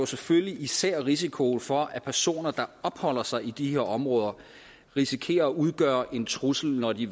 selvfølgelig især risikoen for at personer der opholder sig i disse områder risikerer at udgøre en trussel når de